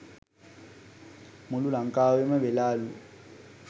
මුලු ලංකාවෙම වෙලාලු